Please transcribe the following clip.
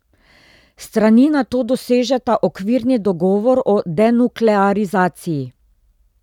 Strani nato dosežeta okvirni dogovor o denuklearizaciji.